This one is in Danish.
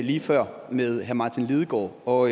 lige før med herre martin lidegaard og